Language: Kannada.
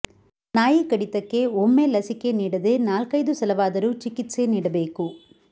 ನಾಯಿ ಕಡಿತಕ್ಕೆ ಒಮ್ಮೆ ಲಸಿಕೆ ನೀಡದೇ ನಾಲ್ಕೈದು ಸಲವಾದರೂ ಚಿಕಿತ್ಸೆ ನೀಡಬೇಕು